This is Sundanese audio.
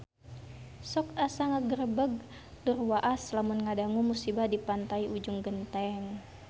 Sok asa ngagebeg tur waas lamun ngadangu musibah di Pantai Ujung Genteng